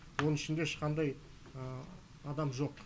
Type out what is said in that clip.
оның ішінде ешқандай адам жоқ